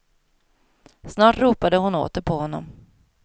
Snart ropade hon åter på honom.